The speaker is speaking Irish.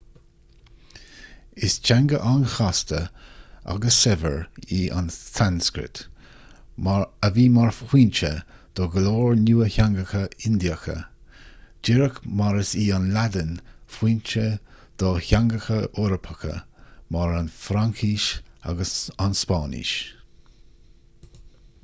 is teanga an-chasta agus saibhir í an tsanscrait a bhí mar fhoinse do go leor nua-theangacha indiacha díreach mar is í an laidin foinse do theangacha eorpacha mar an fhraincis agus an spáinnis